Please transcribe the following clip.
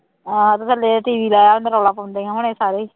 ਆਹੋ ਤੇ ਥੱਲੇ TV ਲਾਇਆ ਹੁੰਦਾ ਰੌਲਾ ਪਾਉਂਦੇ ਹੋਣਾ ਸਾਰੇ ਹੀ